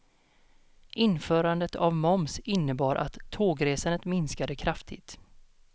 Införandet av moms innebar att tågresandet minskade kraftigt.